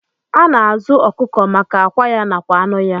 Ana azu okụkọ maka akwa ya nakwa anụ ya.